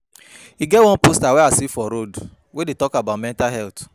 E get one poster I see for road wey dey talk about mental health